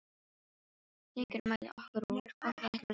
Hringur mælir okkur út, hvort við ætlum að skilja.